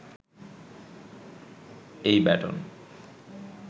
এই ব্যাটন